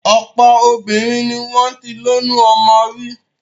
Ọ̀pọ̀ obìnrin ni wọ́n ti lóyún ọmọ rí.